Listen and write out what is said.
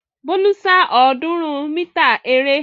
Bólú sá ọ̀ọ́dúnrún mítà eré.